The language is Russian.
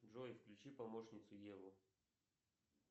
джой включи помощницу еву